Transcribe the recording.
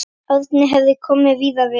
Árni hefur komið víða við.